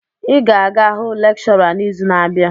Ị ga-aga hụ lekshọra n'izu na-abịa!